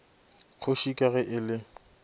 kgoši ka ge e le